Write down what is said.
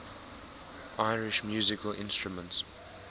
irish musical instruments